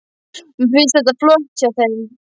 Mér finnst þetta flott hjá þeim.